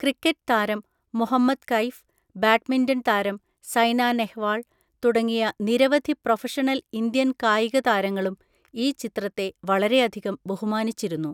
Cricket താരം Muhammad Kaif, badminton താരം സൈന നെഹ്‌വാൾ തുടങ്ങിയ നിരവധി പ്രൊഫഷണൽ ഇന്ത്യൻ കായിക താരങ്ങളും ഈ ചിത്രത്തെ വളരെയധികം ബഹുമാനിച്ചിരുന്നു.